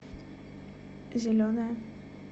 зеленая